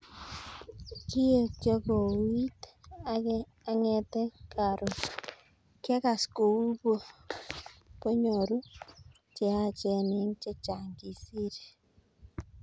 "Kiekyo kouuit angete karon,,,, kiakas kou po nyoru cheyachen eng chechang," kisir.